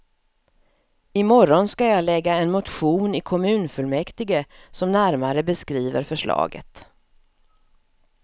I morgon skall jag lägga en motion i kommunfullmäktige som närmare beskriver förslaget.